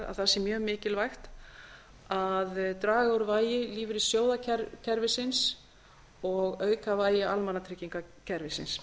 að það sé mjög mikilvægt að draga úr vægi lífeyrissjóðakerfisins og auka vægi almannatryggingakerfisins